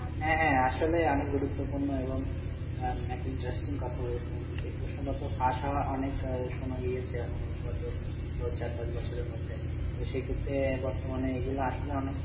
আপনার, হ্যাঁ হ্যাঁ আসলে অনেক গুরুত্বপূর্ণ এবং আহ একটা interesting কথা বলেছেন, যে প্রশ্নগত ফাঁস হওয়া অনেক আহ শোনা গিয়েছে এবং গত চার পাঁচ বছরের মধ্যে তো সেক্ষেত্রে বর্তমানে এইগুলা আসলে অনেক